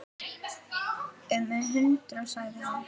Um hundrað sagði hann.